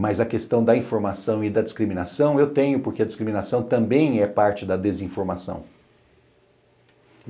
mas a questão da informação e da discriminação eu tenho, porque a discriminação também é parte da desinformação.